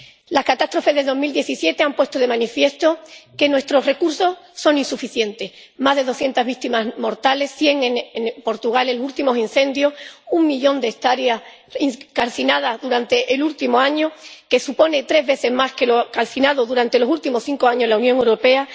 Las catástrofes del año 2017 han puesto de manifiesto que nuestros recursos son insuficientes más de doscientas víctimas mortales —cien en Portugal en los últimos incendios— y un millón de hectáreas calcinadas durante el último año, lo que supone tres veces más que lo calcinado durante los últimos cinco años en la Unión Europea.